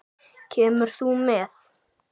Kemur þú með?